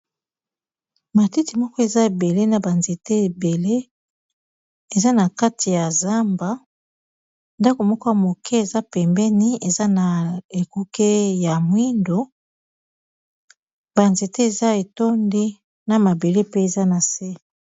Matiti moko eza ebele na ba nzete ebele eza na kati ya zamba ndako moko ya moke eza pembeni eza na ekuke ya mwindo ba nzete eza etondi na mabele pe eza na se.